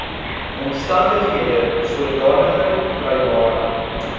omstandighede sodanige vrywaring